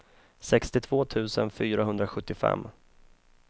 sextiotvå tusen fyrahundrasjuttiofem